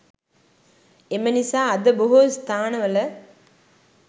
එම නිසා අද බොහෝ ස්ථානවල